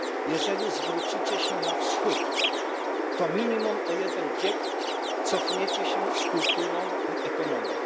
Jeżeli zwrócicie się na Wschód, to minimum o jeden wiek cofniecie się z kulturą i ekonomią.